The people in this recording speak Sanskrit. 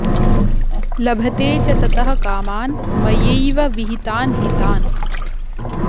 लभते च ततः कामान् मयैव विहितान् हि तान्